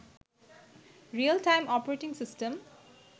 real time operating system